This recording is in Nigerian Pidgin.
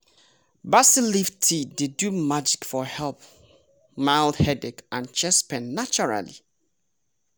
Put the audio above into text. basil leaf tea dey do magic for help mild headache and chest pain naturally